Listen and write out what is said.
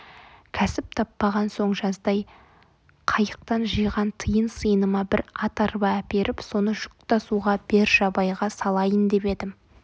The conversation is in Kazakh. кәсіп таппаған соң жаздай қайықтан жиған тиын-сиыныма бір ат арба әперіп соны жүк тасуға бержабайға салайын деп едім